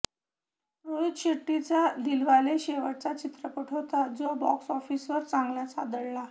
रोहित शेट्टीचा दिलवाले शेवटचा चित्रपट होता जो बॉक्स ऑफिसवर चांगलाच आदळला